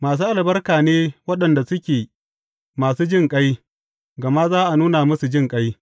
Masu albarka ne waɗanda suke masu jinƙai, gama za a nuna musu jinƙai.